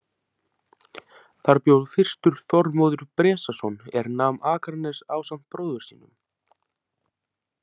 Þar bjó fyrstur Þormóður Bresason er nam Akranes ásamt bróður sínum.